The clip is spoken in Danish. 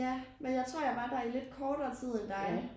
Ja men jeg tror jeg var der i lidt kortere tid end dig